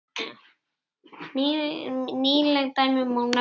Nýleg dæmi má nefna.